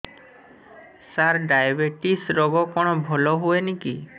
ସାର diabetes ରୋଗ କଣ ଭଲ ହୁଏନି କି